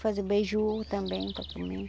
Faz o beiju também para comer.